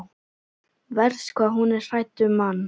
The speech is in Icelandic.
Verst hvað hún er hrædd um mann.